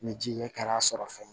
Ni ji ye kɛla sɔrɔ fɛnɛ